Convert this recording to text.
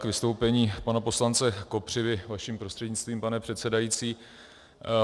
K vystoupení pana poslance Kopřivy vaším prostřednictvím, pane předsedající.